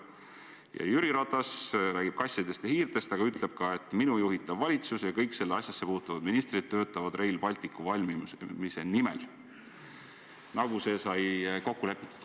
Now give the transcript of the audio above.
" Ja Jüri Ratas räägib kassidest ja hiirtest, aga ütleb ka: "Minu juhitav valitsus ja kõik sellesse asjasse puutuvad ministrid töötavad Rail Balticu valmimise nimel, nagu see sai koalitsiooni moodustamise ajal selgelt kokku lepitud.